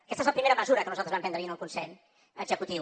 aquesta és la primera mesura que nosaltres vam prendre ahir en el consell executiu